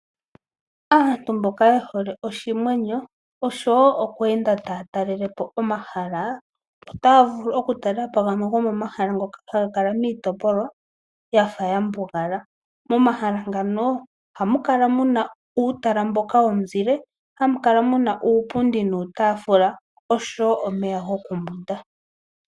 Aantu mboka ye hole oshimwenyo oshowo oku enda taya talelepo omahala otaya vulu oku talelapo gamwe gomo mahala ngoka haga kala miitopolwa yafa ya mbugala. Mo mahala ngano ohamu kala muna uutala mboka womuzile hamu kala muna uupundi nuutafula oshowo omeya goku mbwinda.